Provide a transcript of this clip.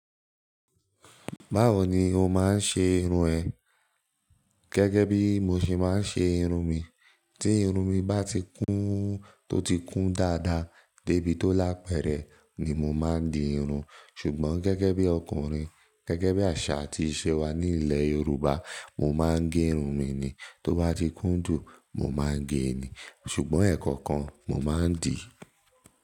Báwo ni o máa ń ṣe irun ẹ? Gẹ́gẹ́ bí mo ṣe máa ń ṣe irun mi. Tí irun mi bá ti kún, tó ti kún dáadáa débi tó lápẹẹrẹ ni mo máa ń di irun, ṣùgbọ́n gẹ́gẹ́ bí ọkùnrin, gẹ́gẹ́ bí àṣà àti ìṣe wa ní ilẹ̀ Yorùbá, mo máa ń gẹ irun mi ni. Tó bá ti kún jù, mo máa ń gẹ ni, ṣùgbọ́n ẹ̀ẹ̀kọ̀kan mo máa ń dì í.